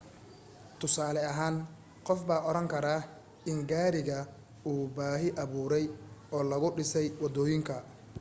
tusaale ahaan qof baa oran karaa in gaariga uu baahi abuuray oo lagu dhisay wadooyinka